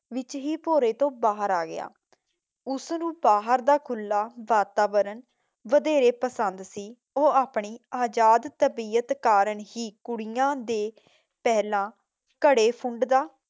ਦੇ ਵਿੱਚ ਹੀ ਭੋਰੇ ਤੋਂ ਬਾਹਰ ਆ ਗਿਆ ਉਸ ਕੋ ਬਾਹਰ ਕਾ ਖੁੱਲਾ ਵਾਤਾਵਰਣ ਪਸੰਦ ਸੀ। ਉਹ ਆਪਣੇ ਆਜ਼ਾਦ ਤਬੀਅਤ ਕਾਰਨ ਹੀ ਕੁੜੀਆਂ ਦੇ ਪਹਿਲਾਂ ਘੜੇ ਫੂੰਡ ਦਾ